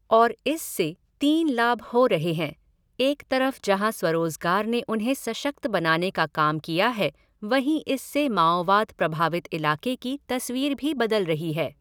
और इससे तीन लाभ हो रहे हैं, एक तरफ जहाँ स्वरोजगार ने उन्हें सशक्त बनाने का काम किया है वहीं इससे माओवाद प्रभावित इलाक़े की तस्वीर भी बदल रही है।